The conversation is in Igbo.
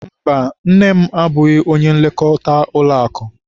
Mba, nne m abụghị onye nlekọta ụlọakụ.